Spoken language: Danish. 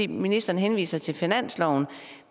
ministeren henviser til finansloven